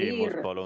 Küsimus, palun!